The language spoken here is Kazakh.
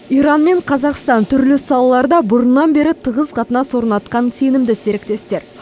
иран мен қазақстан түрлі салаларда бұрыннан бері тығыз қатынас орнатқан сенімді серіктестер